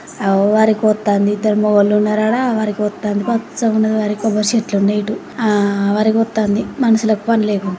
ఆగో వరిగొత్తాంది. ఇద్దరు మొగోళ్ళు ఉన్నారు ఆడ. వరిగొత్తంది. పచ్చగా ఉన్నది వరి. కొబ్బరి చెట్లున్నాయి ఇటు. ఆ వరిగొత్తాంది. మనుషులకు పని లేకుంట.